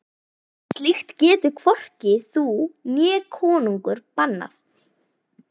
Slíkt getur hvorki þú né konungur bannað.